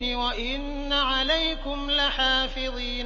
وَإِنَّ عَلَيْكُمْ لَحَافِظِينَ